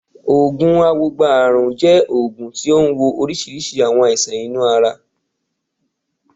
Oògùn awogba ààrùn jẹ́ oògùn tí ó ń wo oríṣiríṣi àwọn àìsàn inú ara.